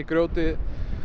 grjótið